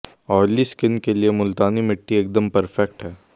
oily skin के लिए मुल्तानी मिट्टी एकदम परफेक्ट है